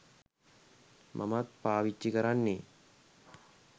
මමත් පාවිච්චි කරන්නේ.